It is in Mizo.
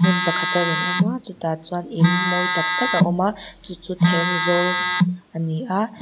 hmun pakhat a rawn awm a chutah chuan in mawi tak tak a awm a chu chu thenzawl a ni a.